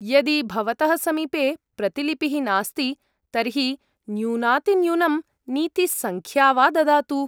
यदि भवतः समीपे प्रतिलिपिः नास्ति, तर्हि न्यूनातिन्यूनं नीतिसङ्ख्या वा ददातु।